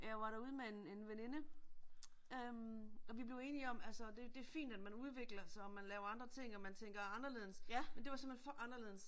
Jeg var derude med en en veninde **nonverbal** øh og vi blev enige om altså det det fint at man udvikler sig og man laver andre ting og man tænker anderledes, men det var simpelthen for anderledes.